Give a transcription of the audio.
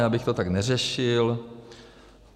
Já bych to tak neřešil.